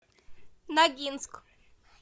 ногинск